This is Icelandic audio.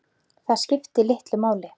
Það skipti litlu máli.